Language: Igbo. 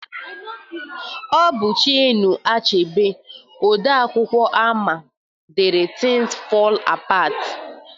Ọ bụ Chinua Achebe, odee akwụkwọ ama ama dere Tins Fọl Apat